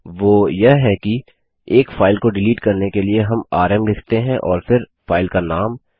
वो यह कि एक फाइल को डिलीट करने के लिए हम आरएम लिखते हैं और फिर फाइल का नाम